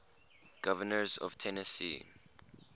governors of tennessee